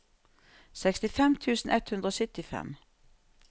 sekstifem tusen ett hundre og syttifem